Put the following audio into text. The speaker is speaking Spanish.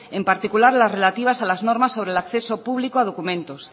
en particular las relativas a las normas de acceso público a documentos